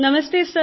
नमस्ते सर